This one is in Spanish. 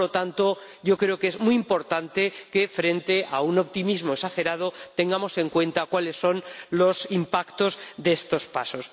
Por lo tanto, yo creo que es muy importante que, frente a un optimismo exagerado, tengamos en cuenta cuáles son los impactos de estos pasos.